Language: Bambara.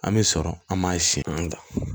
An bɛ sɔrɔ an ma sin na